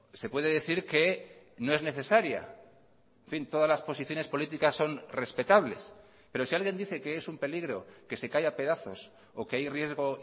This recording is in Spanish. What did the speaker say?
se puede decir que no es necesaria en fin todas las posiciones políticas son respetables pero si alguien dice que es un peligro que se cae a pedazos o que hay riesgo